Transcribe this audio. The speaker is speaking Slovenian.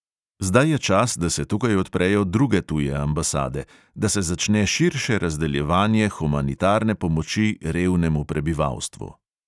Zdaj je čas, da se tukaj odprejo druge tuje ambasade, da se začne širše razdeljevanje humanitarne pomoči revnemu prebivalstvu.